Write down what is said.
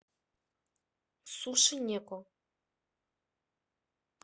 сушинеко